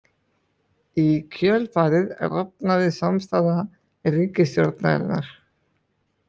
Í kjölfarið rofnaði samstaða ríkisstjórnarinnar.